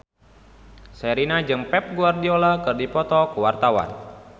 Sherina jeung Pep Guardiola keur dipoto ku wartawan